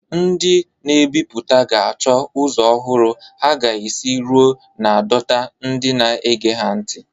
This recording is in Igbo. Ndị mbiputa ga-achọ ụzọ ọhụrụ ha ga-esi ruo na dota ndị na-ege ha ntị.